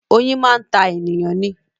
Oyin máa ń ta ènìyàn ni